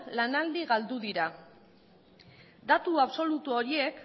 lanaldi galdu dira datu absolutu horiek